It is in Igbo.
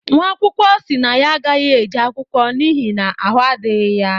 nwaakwụkọ si na ya agaghi-eje akwụkwọ n’ihi na ahụ adighi ya